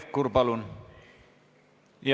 Hanno Pevkur, palun!